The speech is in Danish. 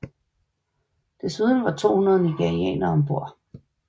Desuden var der 200 nigerianere ombord